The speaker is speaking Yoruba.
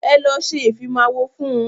Ẹ lọ ṣe ìfimáwọ fún.